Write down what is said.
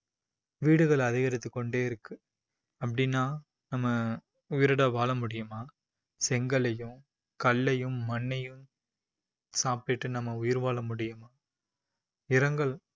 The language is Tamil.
வீடுகள் அதிகரித்துக்கொண்டே இருக்கு அப்படின்னா நம்ம உயிரோட வாழ முடியுமா, செங்கல்லையும் கல்லையும் மண்ணையும் சாப்பிட்டுட்டு நம்ம உயிர் வாழ முடியுமா